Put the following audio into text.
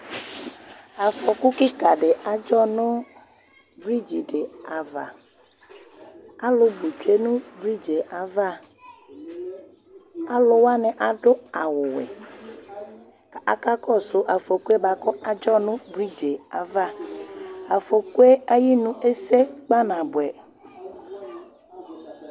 Afɔku kika di adzɔ nù brigi di ava, alu bu tsue nù Brigie ava, aluwani adu awù wɛ, k'aka kɔsu afɔkue bua ku adzɔnu brigie ava afɔkue ayinu esè kpanabuɛ